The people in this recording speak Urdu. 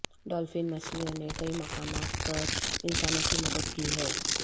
ڈولفن مچھلیوں نے کئی مقامات پر انسانوں کی مدد کی ہے